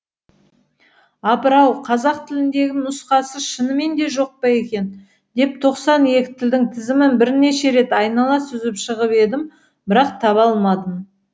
апырау қазақ тіліндегі нұсқасы шынымен де жоқ па екен деп тоқсан екі тілдің тізімін бірнеше рет айнала сүзіп шығып едім бірақ таба алмадым